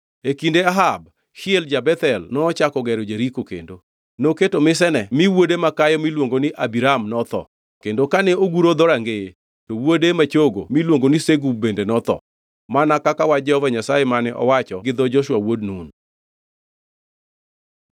E kinde Ahab, Hiel ja-Bethel nochako gero Jeriko kendo. Noketo misene mi wuode makayo miluongo ni Abiram notho kendo kane oguro dhorangeye to wuode ma chogo miluongo ni Segub bende notho, mana kaka wach Jehova Nyasaye mane owacho gi dho Joshua wuod Nun.